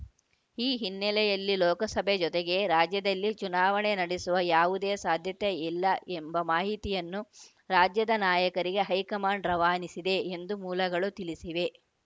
ಈ ಹಿನ್ನೆಲೆಯಲ್ಲಿ ಲೋಕಸಭೆ ಜೊತೆಗೇ ರಾಜ್ಯದಲ್ಲಿ ಚುನಾವಣೆ ನಡೆಸುವ ಯಾವುದೇ ಸಾಧ್ಯತೆ ಇಲ್ಲ ಎಂಬ ಮಾಹಿತಿಯನ್ನು ರಾಜ್ಯದ ನಾಯಕರಿಗೆ ಹೈಕಮಾಂಡ್‌ ರವಾನಿಸಿದೆ ಎಂದು ಮೂಲಗಳು ತಿಳಿಸಿವೆ